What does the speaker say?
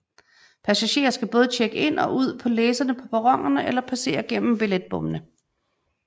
Passagerer skal både tjekke in og ud på læserne på perronerne eller passere gennem billetbommene